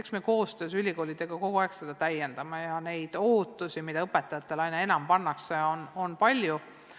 Eks me koostöös ülikoolidega seda kogu aeg täiendame ja ootusi, mida õpetajatele aina enam pannakse, on palju.